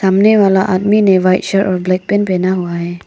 सामने वाला आदमी ने व्हाइट शर्ट और ब्लैक पैंट पहना हुआ है।